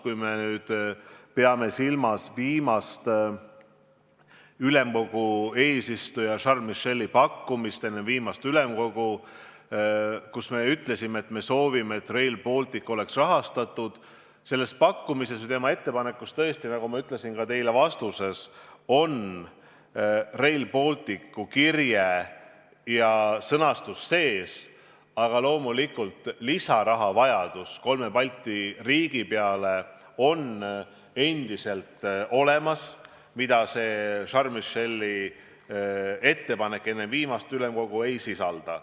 Kui me peame silmas ülemkogu eesistuja Charles Micheli pakkumist enne viimast ülemkogu istungit, kus me ütlesime, et soovime, et Rail Baltic oleks rahastatud, siis selles pakkumises või ettepanekus, nagu ma ütlesin teile ka vastates, on Rail Balticu kirje ja sõnastus sees, aga loomulikult on lisarahavajadus kolme Balti riigi peale endiselt olemas ja seda Charles Micheli ettepanek, mille ta tegi enne viimast ülemkogu istungit, ei sisalda.